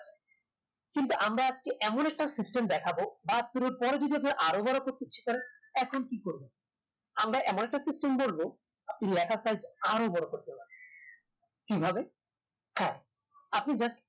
কিন্তু আমরা আজকে এমন একটা system দেখাবো বাহাত্তর এর পরে যদি আরো বড় করতে ইচ্ছে করে তখন কি করবেন আমরা এমন একটা system বলবো লেখার size আরো বড় করতে পারবেন কিভাবে হে আপনি just